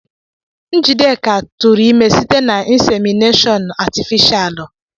Njideka tụrụ ime site na Ịnsemịneshọn atịfishalụ.